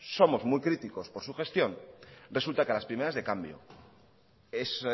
somos muy críticos por su gestión resulta que a las primeras de cambio es